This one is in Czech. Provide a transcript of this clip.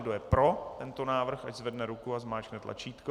Kdo je pro tento návrh, ať zvedne ruku a zmáčkne tlačítko.